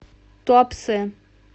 туапсе